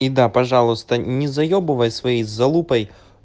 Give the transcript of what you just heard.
и да пожалуйста не заебывай свои залупой